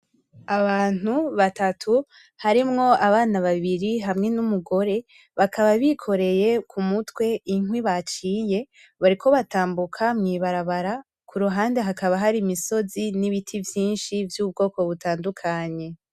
Abantu batatu harimwo abana babiri hamwe n'umugore, bakaba bikoreye ku mutwe inkwi baciye, bariko batambuka mwibarabara, kuruhande hakaba hari imisozi n'ibiti vyinshi vy'ubwoko butandukanye.